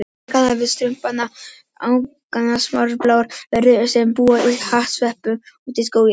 Margir kannast við Strumpana, agnarsmáar bláar verur sem búa í hattsveppum úti í skógi.